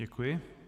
Děkuji.